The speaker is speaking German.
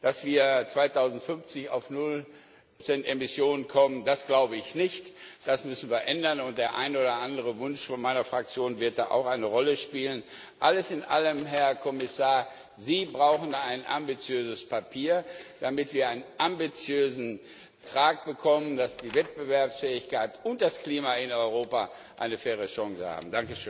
Dass wir 2050 auf null Prozent Emissionen kommen, das glaube ich nicht, das müssen wir ändern, und der ein oder andere Wunsch von meiner Fraktion wird da auch eine Rolle spielen. Alles in allem, Herr Kommissar Sie brauchen ein ambitiöses Papier, damit wir einen ambitiösen Vertrag bekommen, damit die Wettbewerbsfähigkeit und das Klima in Europa eine faire Chance haben.